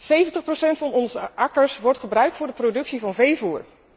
70 procent van onze akkers wordt gebruikt voor de productie van veevoer.